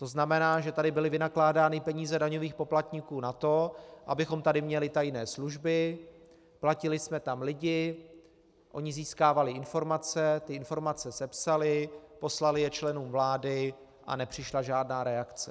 To znamená, že tady byly vynakládány peníze daňových poplatníků na to, abychom tady měli tajné služby, platili jsme tam lidi, oni získávali informace, ty informace sepsali, poslali je členům vlády a nepřišla žádná reakce.